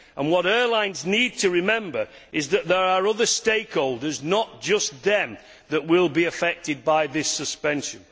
What airlines need to remember is that there are other stakeholders, not just them, that will be affected by this suspension.